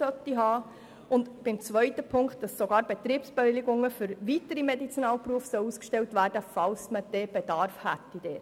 Zudem sollten Betriebsbewilligungen für weitere Medizinalberufe ausgestellt werden, falls ein Bedarf dafür besteht.